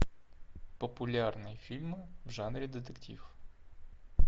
популярные фильмы в жанре детектив